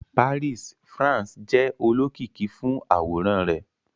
Paris, France, jẹ olokiki fun aworan rẹ